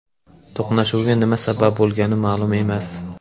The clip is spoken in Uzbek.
To‘qnashuvga nima sabab bo‘lgani ma’lum emas.